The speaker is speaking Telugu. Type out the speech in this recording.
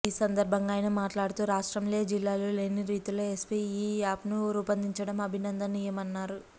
ఈ సందర్భంగా ఆయన మాట్లాడుతూ రాష్ట్రంలో ఏ జిల్లాలో లేని రీతిలో ఎస్పీ ఈ యాప్ను రూపొందించడం అభినందనీయమన్నారు